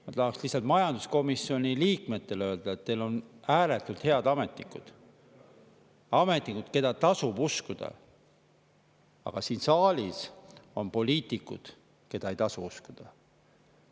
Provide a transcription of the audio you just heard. Ma tahan lihtsalt majanduskomisjoni liikmetele öelda, et teil on ääretult head ametnikud – ametnikud, keda tasub uskuda –, aga siin saalis on poliitikud, keda ei tasu uskuda.